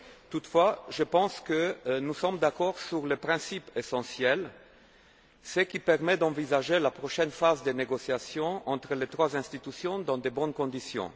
Toutefois, je pense que nous sommes d'accord sur les principes essentiels, ce qui permet d'envisager la prochaine phase des négociations entre les trois institutions dans de bonnes conditions.